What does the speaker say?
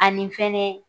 Ani fɛnɛ